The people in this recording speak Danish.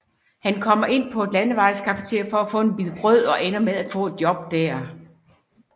Han kommer ind på et landevejscafeteria for at få en bid brød og ender med at få et job der